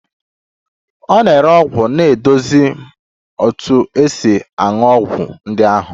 Onye na-ere ọgwụ na-eduzi m otu esi aṅụ ọgwụ ndị ahụ